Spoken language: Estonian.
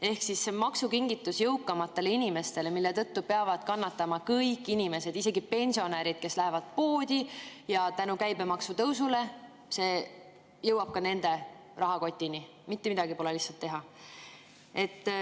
Ehk see on maksukingitus jõukamatele inimestele, mille tõttu peavad kannatama kõik inimesed, isegi pensionärid, kes lähevad poodi, kus käibemaksu tõusu tõttu jõuab see ka nende rahakotini, mitte midagi pole teha.